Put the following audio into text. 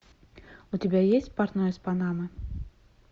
у тебя есть портной из панамы